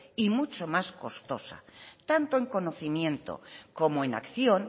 y mucho más costosa tanto en conocimiento como en acción